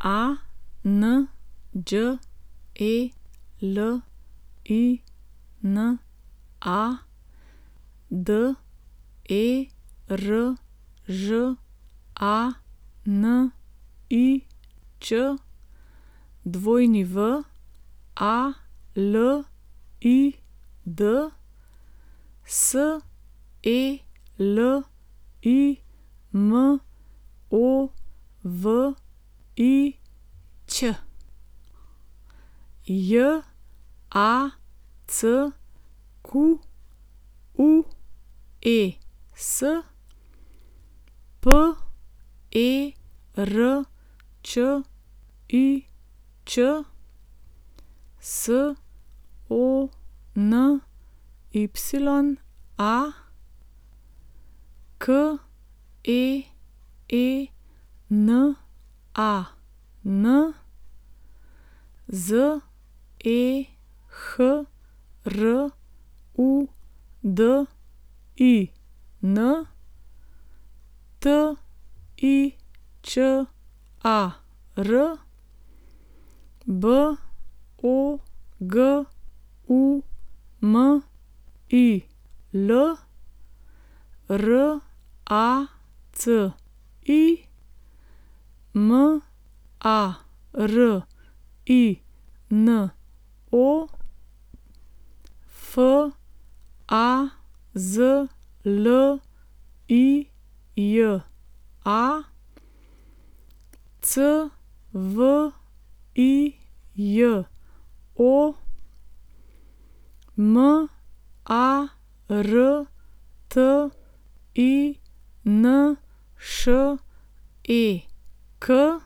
Anđelina Deržanič, Walid Selimović, Jacques Perčič, Sonya Keenan, Zehrudin Tičar, Bogumil Raci, Marino Fazlija, Cvijo Martinšek, Alexei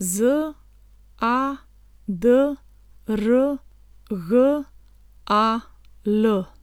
Zadrgal.